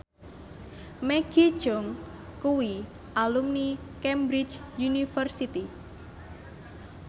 Maggie Cheung kuwi alumni Cambridge University